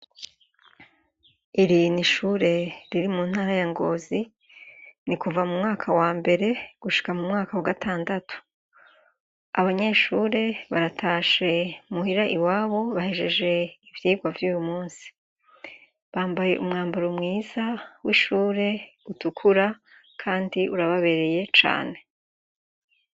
Iri n'ishure riri muntara ya Ngozi nikuva mumwaka wambere gushika mumwaka wagatandatu. Abanyeshure baratashe muhira iwabo bahejeje ivyigwa vy'uyumusi. Bambaye umwambaro mwiza w'ishuri utukura kandi urababereye cane.